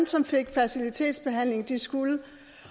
som fik fertilitetsbehandling skulle